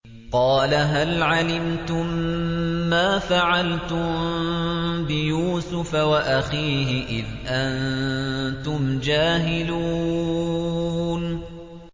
قَالَ هَلْ عَلِمْتُم مَّا فَعَلْتُم بِيُوسُفَ وَأَخِيهِ إِذْ أَنتُمْ جَاهِلُونَ